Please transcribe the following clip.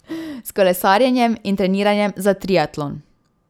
S kolesarjenjem in treniranjem za triatlon.